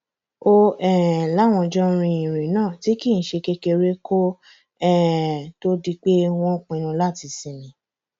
ó um láwọn jọ rin ìrìn náà tí kì í ṣe kékeré kó um tóó di pé wọn pinnu láti sinmi